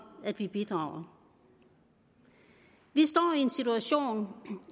at vi bidrager vi står i en situation